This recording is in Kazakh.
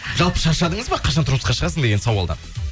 жалпы шаршадыңыз ба қашан тұрмысқа шығасың деген сауалдан